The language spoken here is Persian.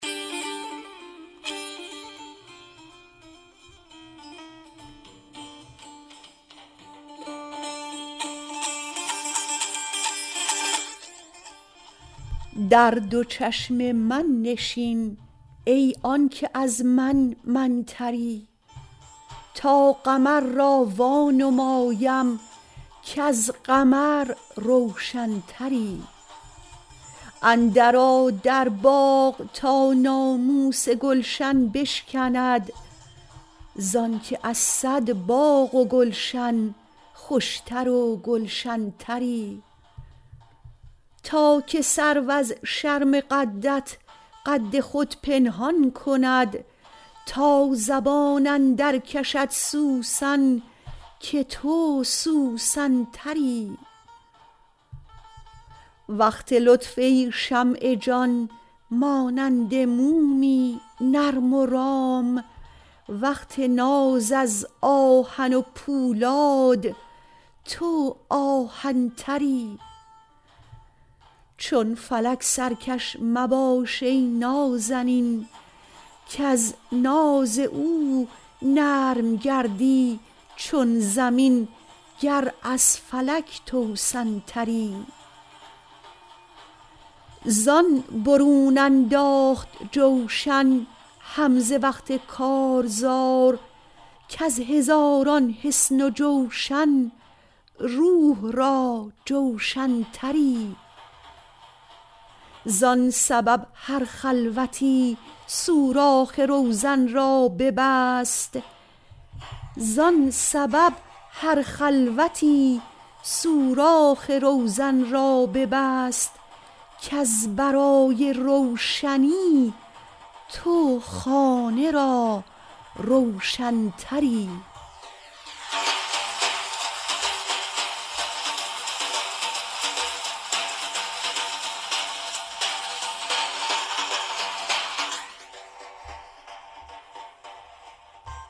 در دو چشم من نشین ای آن که از من من تری تا قمر را وانمایم کز قمر روشن تری اندرآ در باغ تا ناموس گلشن بشکند ز آنک از صد باغ و گلشن خوش تر و گلشن تری تا که سرو از شرم قدت قد خود پنهان کند تا زبان اندرکشد سوسن که تو سوسن تری وقت لطف ای شمع جان مانند مومی نرم و رام وقت ناز از آهن پولاد تو آهن تری چون فلک سرکش مباش ای نازنین کز ناز او نرم گردی چون زمین گر از فلک توسن تری زان برون انداخت جوشن حمزه وقت کارزار کز هزاران حصن و جوشن روح را جوشن تری زان سبب هر خلوتی سوراخ روزن را ببست کز برای روشنی تو خانه را روشن تری